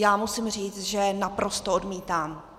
Já musím říct, že naprosto odmítám.